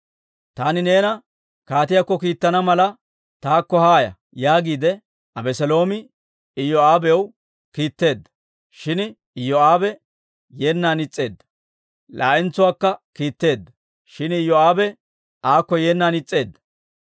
«Taani neena kaatiyaakko kiittana mala, taakko haaya» yaagiide Abeseeloomi Iyoo'aabaw kiitteedda; shin Iyoo'aabe yeennan is's'eedda. Laa"entsuwaakka kiitteedda; shin Iyoo'aabe aakko yeennan is's'eedda.